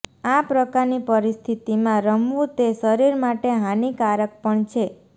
આ પ્રકારની પરિસ્થિતિમાં રમવું તે શરીર માટે હાનિકારક પણ છે